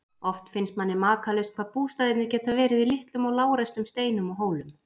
Oft finnst manni makalaust hvað bústaðirnir geta verið í litlum og lágreistum steinum og hólum.